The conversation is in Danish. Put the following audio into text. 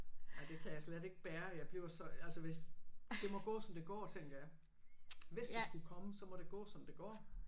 Ej det kan jeg slet ikke bære jeg bliver så altså hvis. Det må gå som det går tænker jeg. Hvis det skulle komme så må det gå som det går